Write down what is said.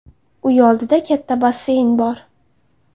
Uy oldida katta basseyn bor.